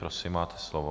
Prosím, máte slovo.